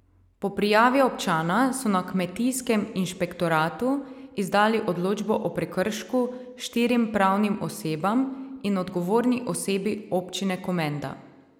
Po prijavi občana so na kmetijskem inšpektoratu izdali odločbo o prekršku štirim pravnim osebam in odgovorni osebi občine Komenda.